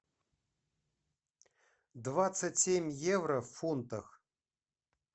двадцать семь евро в фунтах